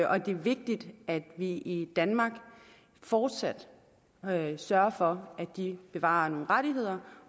og det er vigtigt at vi i danmark fortsat sørger for at de bevarer nogle rettigheder